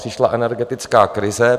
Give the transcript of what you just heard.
Přišla energetická krize.